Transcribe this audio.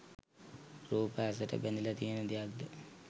රූප ඇසට බැඳිල තියෙන දෙයක්ද?